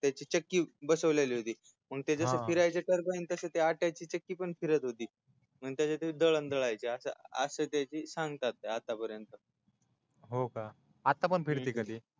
त्याची चक्की बसवलेली होती हा हा मग ते जस फिरायच टरबाईन ती आट्याची चक्की पण फिरायची त्याच्यातून ते दळण दळायचे अस त्याची सांगतातय आत्तापर्यंत